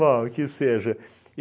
Bom, que seja.